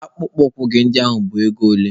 Akpụkpọ ụkwụ gị a bụ ego ole?